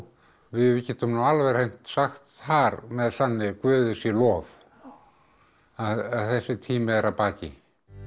við getum nú alveg hreint sagt þar með sanni Guði sé lof að þessi tími er að baki